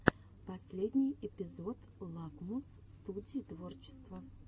последний эпизод лакмус студии творчества